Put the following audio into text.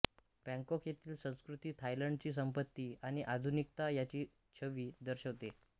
Bangkok येथील संस्कृती थायलंडची संपत्ती आणि आधुनिकता याची छवी दर्शविते